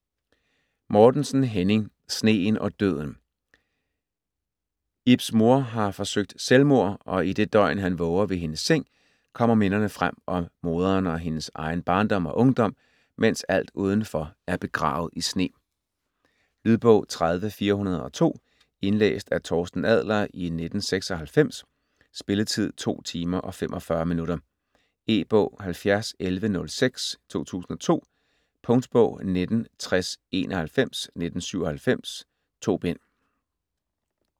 Mortensen, Henning: Sneen og døden Ibs mor har forsøgt selvmord, og i dét døgn, han våger ved hendes seng, kommer minderne frem om moderen og hans egen barndom og ungdom, mens alt udenfor er begravet i sne. Lydbog 30402 Indlæst af Torsten Adler, 1996. Spilletid: 2 timer, 45 minutter. E-bog 701106 2002. Punktbog 196091 1997. 2 bind.